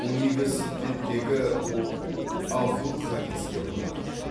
университеттегі оқу абдул хадиске ұнады